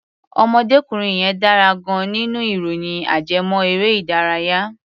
Ọ̀mọdékùnrin yẹn dára gan-an nínú ìròyìn ajẹ́mọ́-erẹ́-ìdárayá.